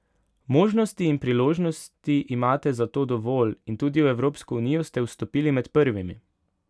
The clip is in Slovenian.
Možnosti in priložnosti imate zato dovolj in tudi v Evropsko unijo ste vstopili med prvimi.